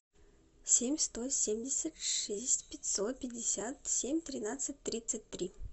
семь сто семьдесят шесть пятьсот пятьдесят семь тринадцать тридцать три